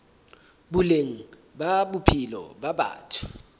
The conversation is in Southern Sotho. boleng ba bophelo ba batho